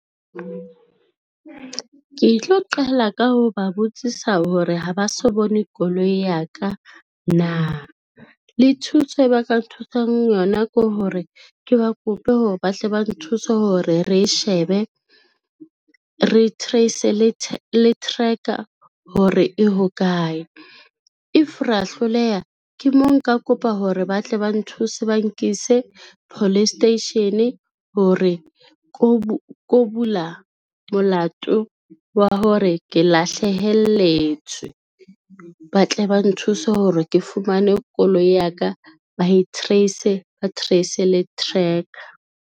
Ke tlo qala ka ho ba botsisa hore ha ba so bone koloi ya ka na, le thuso e ba ka nthusang yona ke hore ke ba kope hore ba hle ba nthuse hore re shebe, re trace-e le tracker hore e hokae. If ra hloleha ke mo nka kopa hore ba tle ba nthuse, ba nkise police station hore ko bula molato wa hore ke lahlehelletswe, ba tle ba nthuse hore ke fumane koloi ya ka, ba e trace-e ba trace-e le tracker.